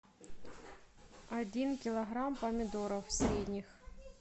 один килограмм помидоров средних